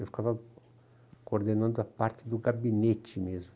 Eu ficava coordenando a parte do gabinete mesmo.